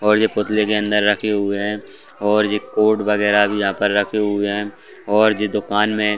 और यह पुतले के अंदर रखे हुए हैं और यह कोर्ट व गैरा भी यहाँ पर रखे हुए हैं और जो दुकान में --